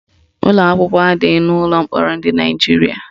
Ụlọakwụkwọ adịghị n'ụlọ mkpọrọ dị na Naijiria